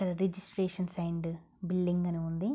Registration and building అని ఉంది.